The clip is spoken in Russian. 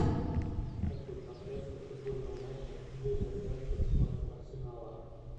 хочу трансляцию футбольного матча вулверхэмптон против арсенала